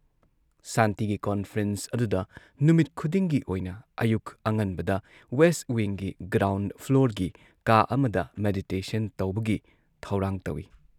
ꯁꯥꯟꯇꯤꯒꯤ ꯀꯣꯟꯐ꯭ꯔꯦꯟꯁ ꯑꯗꯨꯗ ꯅꯨꯃꯤꯠ ꯈꯨꯗꯤꯡꯒꯤ ꯑꯣꯏꯅ ꯑꯌꯨꯛ ꯑꯉꯟꯕꯗ ꯋꯦꯁꯠ ꯋꯤꯡꯒꯤ ꯒ꯭ꯔꯥꯎꯟꯗ ꯐ꯭ꯂꯣꯔꯒꯤ ꯀꯥ ꯑꯃꯗ ꯃꯦꯗꯤꯇꯦꯁꯟ ꯇꯧꯕꯒꯤ ꯊꯧꯔꯥꯡ ꯇꯧꯏ ꯫